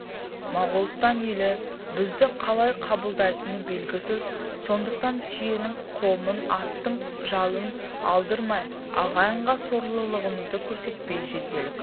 моғолстан елі бізді қалай қабылдайтыны белгісіз сондықтан түйенің қомын аттың жалын алдырмай ағайынға сорлылығымызды көрсетпей жетелік